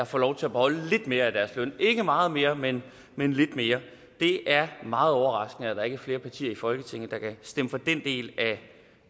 får lov til at beholde lidt mere af deres løn ikke meget mere men men lidt mere det er meget overraskende at der ikke er flere partier i folketinget der kan stemme for den del